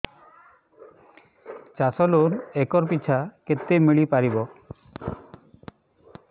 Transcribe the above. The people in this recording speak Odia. ଚାଷ ଲୋନ୍ ଏକର୍ ପିଛା କେତେ ମିଳି ପାରିବ